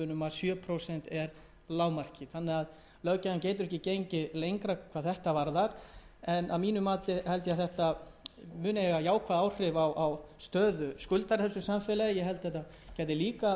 sé lágmarkið löggjafinn getur ekki gengið lengra hvað þetta varðar en að mínu mati mun þetta hafa jákvæð áhrif á stöðu skuldara í samfélaginu